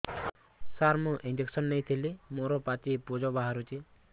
ସାର ମୁଁ ଇଂଜେକସନ ନେଇଥିଲି ମୋରୋ ପାଚି ପୂଜ ବାହାରୁଚି